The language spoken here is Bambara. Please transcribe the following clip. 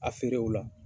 A feere o la